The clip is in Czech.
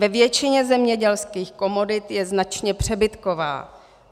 Ve většině zemědělských komodit je značně přebytková.